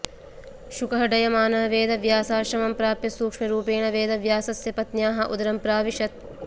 शुकः डयमानः वेदव्यासाश्रमं प्राप्य सूक्ष्मरूपेण वेदव्यासस्य पत्न्याः उदरं प्राविशत्